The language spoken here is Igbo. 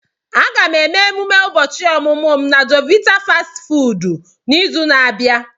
Aga m eme ememe ụbọchị ọmụmụ m na jovit fastị fụụdụ n'izu na-abịa.